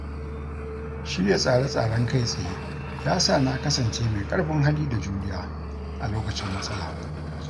Shirya tsare-tsaren kai tsaye ya sa na kasance mai ƙarfin hali da juriya a lokacin matsala.